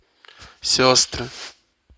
сестры